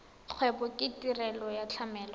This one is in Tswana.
kgwebo ke tirelo ya tlamelo